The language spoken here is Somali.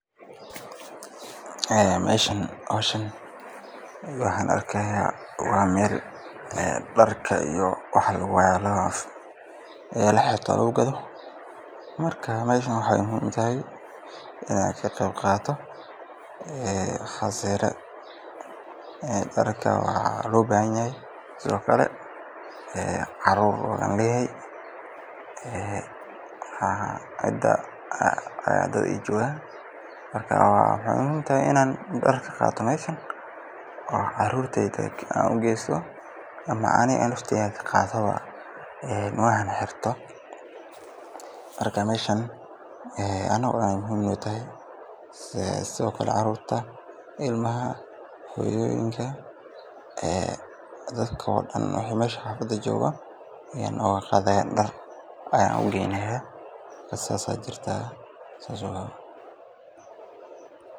Meeshan howshan waxaan arkaaya meel dar iyo waxa laxirto lagu gado, waxeey muhiim utahay darka waa loo baahan yahay, sido kale caruur iyo cida hadii dad joogan, inaan caruurta ugesto ama aniga aan ka qaato, caruurta, hooyoyinka iyo dadka joogo xafada kuli ayaan dar ooga qaadaya waan ugeynaya.